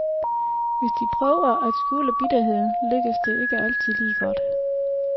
Hvis de prøver at skjule bitterheden, lykkes det ikke altid lige godt.